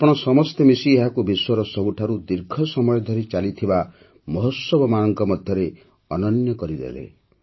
ଆପଣ ସମସ୍ତେ ମିଶି ଏହାକୁ ବିଶ୍ୱର ସବୁଠାରୁ ଦୀର୍ଘ ସମୟ ଧରି ଚାଲିଥିବା ମହୋତ୍ସବମାନଙ୍କ ମଧ୍ୟରେ ଅନନ୍ୟ କରିଦେଲେ